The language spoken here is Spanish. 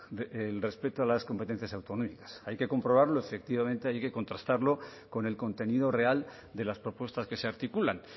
el respeto a las competencias autonómicas hay que comprobarlo efectivamente hay que contrastarlo con el contenido real de las propuestas que se articulan